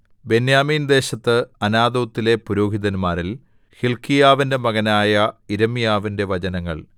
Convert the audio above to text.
ബെന്യാമീൻദേശത്ത് അനാഥോത്തിലെ പുരോഹിതന്മാരിൽ ഹില്ക്കീയാവിന്റെ മകനായ യിരെമ്യാവിന്റെ വചനങ്ങൾ